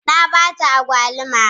Na ba ta agwaluma.